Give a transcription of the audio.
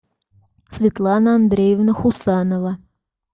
светлана андреевна хусанова